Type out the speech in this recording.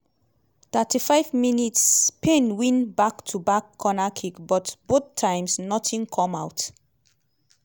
35 mins - spain win back to back cornerkicks but both times nothing come out.